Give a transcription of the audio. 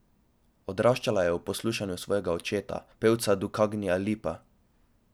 Odraščala je ob poslušanju svojega očeta, pevca Dukagjina Lipa.